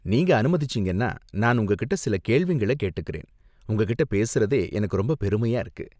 நீங்க அனுமதிச்சீங்கன்னா நான் உங்ககிட்ட சில கேள்விங்கள கேட்டுக்கறேன், உங்ககிட்ட பேசுறதே எனக்கு ரொம்ப பெருமையா இருக்கு.